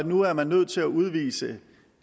nu er man nødt til at udvise